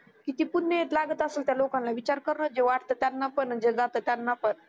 किती पुण्य येत लागत असल त्या लोकांना विचार करना जे वाटत त्यांना पण आणि जे जातात त्यांना पण